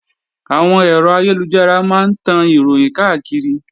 Àwọn ẹ̀rọ ayélujára máa ń tan Ìròhìn káàkiri